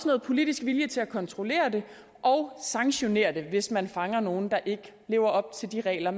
noget politisk vilje til at kontrollere det og sanktionere det hvis man fanger nogle der ikke lever op til de regler